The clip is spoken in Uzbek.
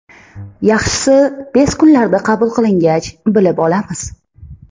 Yaxshisi tez kunlarda qabul qilingach bilib olamiz.